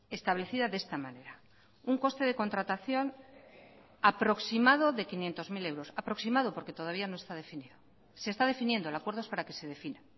establecida de esta manera un coste de contratación aproximado de quinientos mil euros aproximado porque todavía no está definido se está definiendo el acuerdo es para que se defina